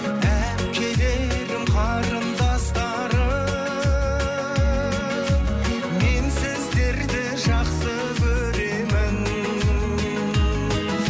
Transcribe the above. әпкелерім қарындастарым мен сіздерді жақсы көремін